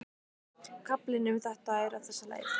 Kaflinn um þetta er á þessa leið